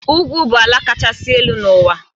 Ugwu bụ ala kachasị elu n'ụwa.